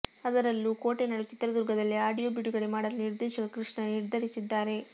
ಅದರಲ್ಲೂ ಕೋಟೆನಾಡು ಚಿತ್ರದುರ್ಗದಲ್ಲಿ ಆಡಿಯೋ ಬಿಡುಗಡೆ ಮಾಡಲು ನಿರ್ದೇಶಕ ಕೃಷ್ಣ ನಿರ್ಧರಿಸಿದ್ದಾರೆ